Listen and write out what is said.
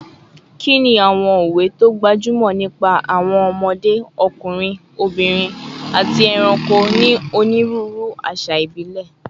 Kí ni àwọn òwe tó gbajúmọ̀ nípa àwọn ọmọdé, ọkùnrin, obìnrin, àti ẹranko ní onírúurú àṣà ìbílẹ̀?